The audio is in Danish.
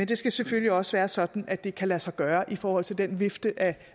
det skal selvfølgelig også være sådan at det kan lade sig gøre i forhold til den vifte af